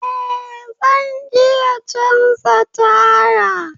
Eh! zan iya canza taya